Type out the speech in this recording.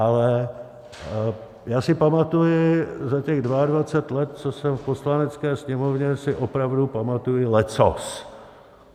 Ale já si pamatuji, za těch 22 let, co jsem v Poslanecké sněmovně, si opravdu pamatuji leccos.